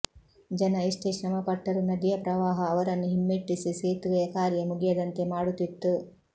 ಜನ ಎಷ್ಟೇ ಶ್ರಮಪಟ್ಟರೂ ನದಿಯ ಪ್ರವಾಹ ಅವರನ್ನು ಹಿಮ್ಮೆಟ್ಟಿಸಿ ಸೇತುವೆಯ ಕಾರ್ಯ ಮುಗಿಯದಂತೆ ಮಾಡುತ್ತಿತ್ತು